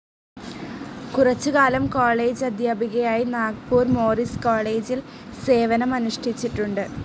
കുറച്ചുകാലം കോളജ് അധ്യാപികയായി നാഗ്പൂർ മോറിസ് കോളജിൽ സേവനം അനുഷ്ഠിച്ചിട്ടുണ്ട്.